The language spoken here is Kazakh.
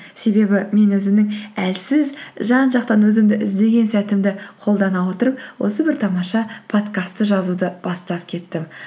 себебі мен өзімнің әлсіз жан жақтан өзімді іздеген сәтімді қолдана отырып осы бір тамаша подкастты жазуды бастап кеттім